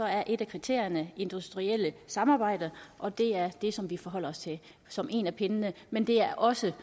er et af kriterierne det industrielle samarbejde og det er det som vi forholder os til som en af pindene men der er også